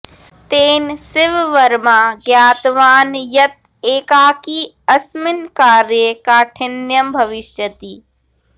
तेन शिववर्मा ज्ञातवान् यत् एकाकी अस्मिन् कार्ये काठिन्यं भविष्यति